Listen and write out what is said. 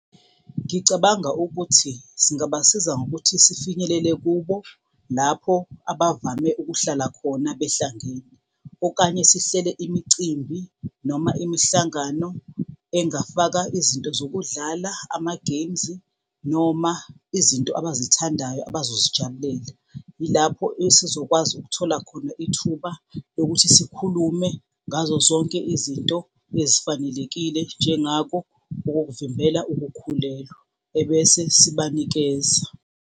Ngicabanga ukuthi singabasiza ngokuthi sifinyelele kubo lapho abavame ukuhlala khona behlangene. Okanye sihlele imicimbi noma imihlangano engafaka izinto zokudlala, ama-games noma izinto abazithandayo abazozijabulela. Yilapho esizokwazi ukuthola khona ithuba lokuthi sikhulume ngazo zonke izinto ezifanelekile njengako okokuvimbela ukukhulelwa, ebese sibanikeza.